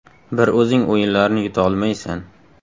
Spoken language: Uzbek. Bir o‘zing o‘yinlarni yuta olmaysan”.